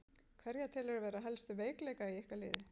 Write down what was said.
Hverja telurðu vera helstu veikleika í ykkar liði?